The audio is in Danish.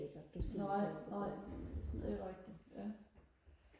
nej nej det er rigtigt ja